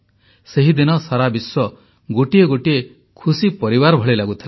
ସେହିଦିନ ସାରା ବିଶ୍ୱ ଗୋଟିଏ ଗୋଟିଏ ଖୁସି ପରିବାର ଭଳି ଲାଗୁଥିଲା